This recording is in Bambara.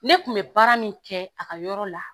Ne kun bɛ baara min kɛ a ka yɔrɔ la.